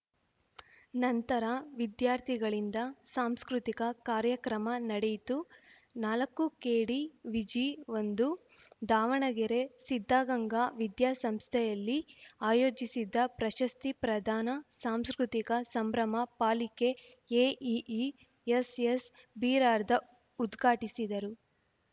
ನಂತರ ವಿದ್ಯಾರ್ಥಿಗಳಿಂದ ಸಾಂಸ್ಕೃತಿಕ ಕಾರ್ಯಕ್ರಮ ನಡೆಯಿತು ನಾಲಕ್ಕುಕೆಡಿವಿಜಿಒಂದು ದಾವಣಗೆರೆ ಸಿದ್ಧಗಂಗಾ ವಿದ್ಯಾಸಂಸ್ಥೆಯಲ್ಲಿ ಆಯೋಜಿಸಿದ್ದ ಪ್ರಶಸ್ತಿ ಪ್ರದಾನ ಸಾಂಸ್ಕೃತಿಕ ಸಂಭ್ರಮ ಪಾಲಿಕೆ ಎಇಇ ಎಸ್‌ಎಸ್‌ಬಿರಾರ್ದಾ ಉದ್ಘಾಟಿಸಿದರು